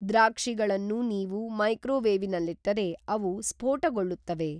ದ್ರಾಕ್ಷಿಗಳನ್ನು ನೀವು ಮೈಕ್ರೋವೇವ್ನಲ್ಲಿಟ್ಟರೆ ಅವು ಸ್ಫೋಟಗೊಳ್ಳುತ್ತವೆ